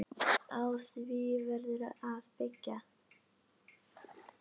Á því verður að byggja.